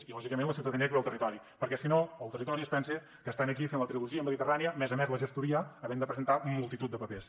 i lògicament la ciutadania actua al territori perquè si no el territori es pensa que està aquí fent la trilogia mediterrània a més a més de la gestoria havent de presentar multitud de papers